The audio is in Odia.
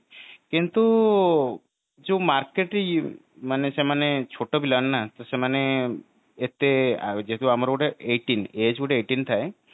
କିନ୍ତୁ ଯୋଉ market ମାନେ ସେମାନେ ଛୋଟ ପିଲାମାନେ ନା ତ ସେମାନେ ଏତେ ଯେକି ଆମର ଗୋଟେ eighteen age ଗୋଟେ eighteen ଥାଏ